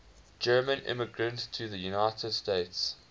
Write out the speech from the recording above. german immigrants to the united states